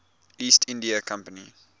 east india company